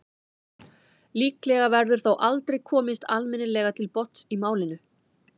líklega verður þó aldrei komist almennilega til botns í málinu